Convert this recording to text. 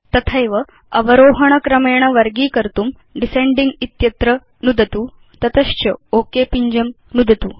तथैव अवरोहण क्रमेण वर्गीकर्तुं डिसेंडिंग इत्यत्र नुदतु तत च ओक पिञ्जं नुदतु